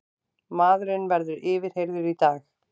Maðurinn verður yfirheyrður í dag